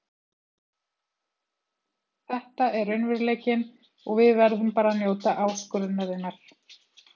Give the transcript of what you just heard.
Þetta er raunveruleikinn og við verðum bara að njóta áskorunarinnar.